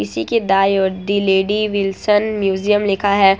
इसी के दाईं और दी लेडी विल्सन म्यूजियम लिखा है।